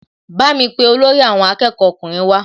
Bámi pe olórí àwọn akẹ́kọ̀ọ́ ọkùnrin wá